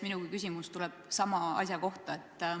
Minugi küsimus tuleb sama asja kohta.